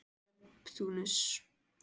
Neptúnus